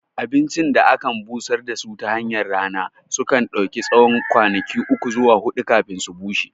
Abincin da ake busar da su tahanyar rana sunka ɗauki tsawon kwanaki uku zuwa huɗu kafin su bushe